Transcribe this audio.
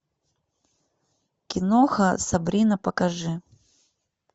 киноха сабрина покажи